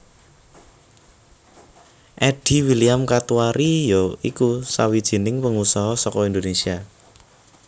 Eddy William Katuari ya iku sawijining pengusaha saka Indonesia